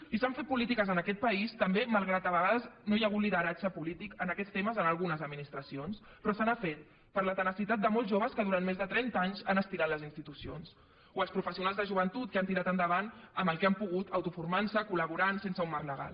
i s’han fet polítiques en aquest país també malgrat que a vegades no hi ha hagut lideratge polític en aquests temes en algunes administracions però se n’ha fet per la tenacitat de molts joves que durant més de trenta anys han estirat les institucions o els professionals de joventut que han tirat endavant amb el que han pogut autoformant se col·laborant sense un marc legal